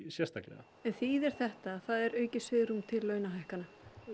sérstaklega þýðir þetta að er aukið svigrúm til launahækkana